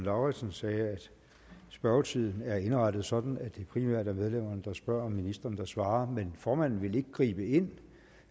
lauritzen sagde at spørgetiden er indrettet sådan at det primært er medlemmerne der spørger og ministrene der svarer men formanden vil ikke gribe ind